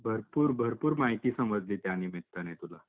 भरपूर भरपूर माहिती समजली त्या निमित्ताने तुला.